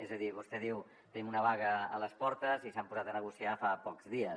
és a dir vostè diu tenim una vaga a les portes i s’han posat a negociar fa pocs dies